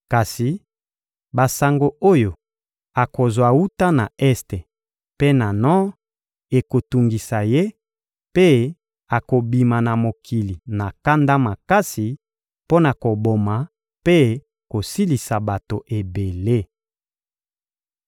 Kasi basango oyo akozwa wuta na este mpe na nor ekotungisa ye, mpe akobima na mokili na kanda makasi mpo na koboma mpe kosilisa bato ebele.